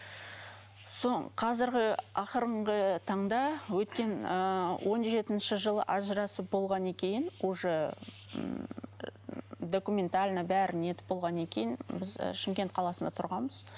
қазіргі ақырғы таңда өткен ы он жетінші жылы ажырасып болғаннан кейін уже ммм документально бәрін нетіп болғаннан кейін біз шымкент қаласында тұрғанбыз